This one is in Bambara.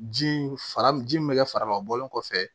Ji fara ji min bɛ kɛ farama bɔlen kɔfɛ